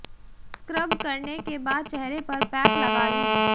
scrub करने के बाद चेहरे पर पैक लगा लें